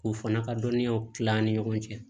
K'u fana ka dɔnniyaw tila an ni ɲɔgɔn cɛ